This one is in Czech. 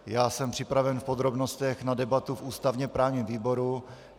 Já jsem připraven v podrobnostech na debatu v ústavně právním výboru.